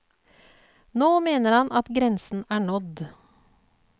Nå mener han at grensen er nådd.